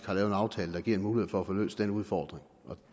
har lavet en aftale der giver mulighed for at få løst den udfordring